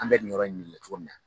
An bɛ nin yɔrɔ in de la cogo min na